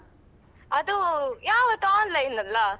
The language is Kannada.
ಅದು ಅಹ್ ಯಾವತ್ತೂ online ಅಲ್ಲಾ?